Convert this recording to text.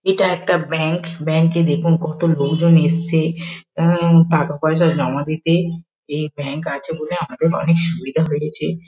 এটা একটা ব্যাঙ্ক ব্যাঙ্ক -এ দেখুন কত লোকজন এসেছে উম টাকা-পয়সা জমা দিতে এই ব্যাঙ্ক আছে বলে আমাদের অনেক সুবিধা হয়েছে।